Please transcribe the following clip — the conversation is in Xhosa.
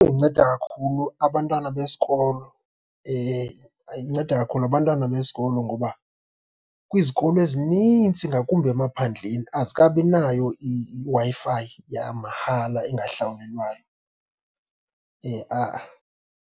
Inceda kakhulu abantwana besikolo, inceda kakhulu abantwana besikolo. Ngoba kwizikolo ezinintsi, ngakumbi emaphandleni azikabinayo iWi-Fi yamahala engahlawulelwayo, ha-a.